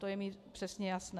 To je mi přesně jasné.